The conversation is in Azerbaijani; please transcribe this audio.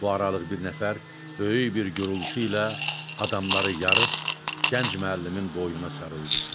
Bu aralıq bir nəfər böyük bir gurultu ilə adamları yarıb gənc müəllimin boynuna sarıldı.